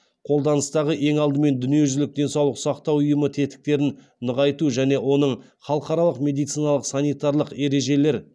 қолданыстағы ең алдымен дүниежүзілік денсаулық сақтау ұйымы тетіктерін нығайту және оның халықаралық медициналық санитарлық ережелер